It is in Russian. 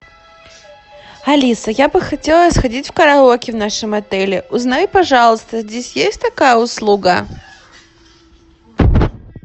алиса я бы хотела сходить в караоке в нашем отеле узнай пожалуйста здесь есть такая услуга